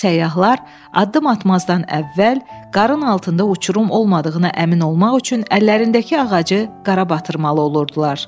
Səyyahlar addım atmazdan əvvəl qarın altında uçurum olmadığını əmin olmaq üçün əllərindəki ağacı qara batırmalı olurdular.